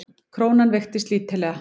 Krónan veiktist lítillega